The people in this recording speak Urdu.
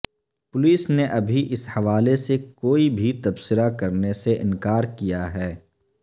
پولیس نے ابھی اس حوالے سے کوئی بھی تبصرہ کرنے سے انکار کیا ہے